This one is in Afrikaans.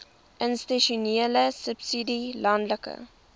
institusionele subsidie landelike